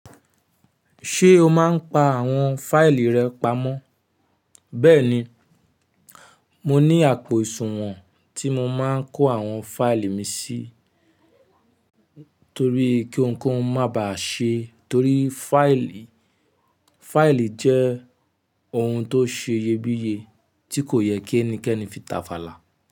Ṣé o máa ń pa àwọn fáìlì rẹ pamọ́? Bẹ́ẹ̀ni, mo ní àpò ìṣùwọ̀n tí mo máa ń kó àwọn fáìlì mi sí torí pé kí ohunkóhun má bà ṣe. Torí fáìlì jẹ́ ohun tó ṣe iyebíye tí kò yẹ kí ẹnikẹ́ni fi tàfàlà.